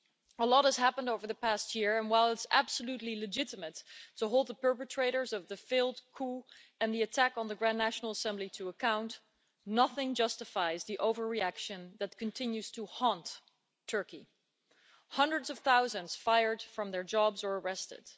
A lot has happened over the past year and, while it's absolutely legitimate to hold the perpetrators of the failed coup and the attack on the Grand National Assembly to account, nothing justifies the overreaction that continues to haunt Turkey hundreds of thousands fired from their jobs or arrested